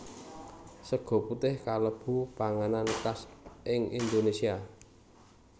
Sega putih kalebu panganan khas ing Indonesia